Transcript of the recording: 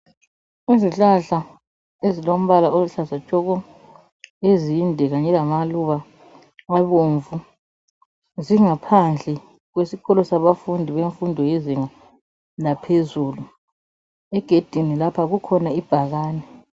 Izihlahla ezilombala oluhlaza tshoko ezinde kanye lamaluba abomvu zingaphandle kwesikolo sabafundi bemfundo lezinga laphezulu. Egedini lapha kukhona ibhakane.